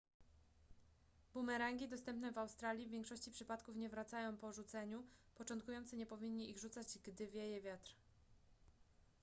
bumerangi dostępne w australii w większości przypadków nie wracają po rzuceniu początkujący nie powinni ich rzucać gdy wieje wiatr